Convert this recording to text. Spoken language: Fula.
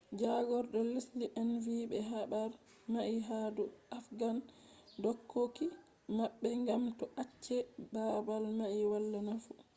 jagordo lesde en vi be habar mai ha dou afghan dokoki mabbe gam be acce babal mai wala nafu